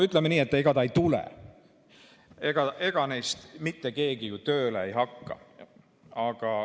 Ütleme nii, et ega ta ei tule, ega neist mitte keegi ju tööle ei hakka.